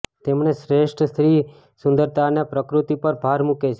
તેમણે શ્રેષ્ઠ સ્ત્રી સુંદરતા અને પ્રકૃતિ પર ભાર મૂકે છે